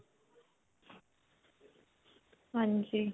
ਹਾਂਜੀ.